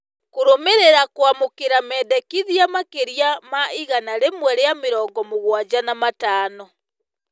Kũrũmĩrĩra kũamũkĩra mendekithia makĩria ma igana rĩmwe rĩa mĩrongo mũgwanja na matano.